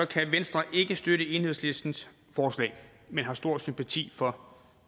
kan venstre ikke støtte enhedslistens forslag men har stor sympati for